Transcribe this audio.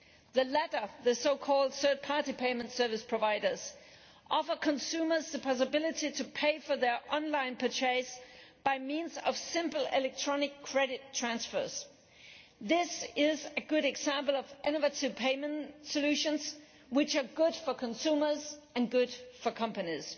The latter, the so called third party payment service providers offer consumers the possibility to pay for their online purchase by means of simple electronic credit transfers. This is a good example of innovative payment solutions which are good for consumers and companies.